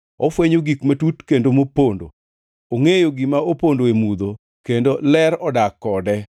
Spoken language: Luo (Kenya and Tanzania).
Ofwenyo gik matut kendo mopondo; ongʼeyo gima opondo e mudho, kendo ler odak kode.